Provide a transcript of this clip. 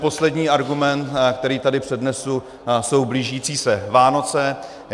Poslední argument, který tady přednesu, jsou blížící se Vánoce.